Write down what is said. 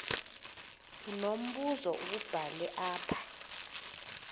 unombuzo wubhale apha